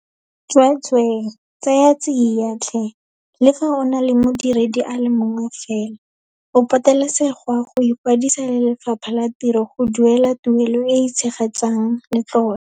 Tsweetswee, tsaya tsia tlhe, le fa o na le modiredi a le mongwe fela, o patelesegwa go ikwadisa le Lefapha la Tiro go duela tuelo e e tshegetsang letlole.